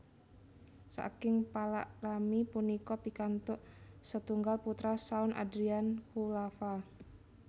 Saking palakrami punika pikantuk setunggal putra Shawn Adrian Khulafa